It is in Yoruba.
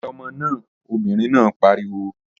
Wẹ ọmọ náà! Obìnrin náà pariwo.